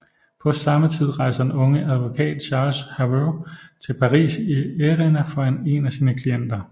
På samme tid rejser den unge advokat Charles Herveau til Paris i ærinde for en af sine klienter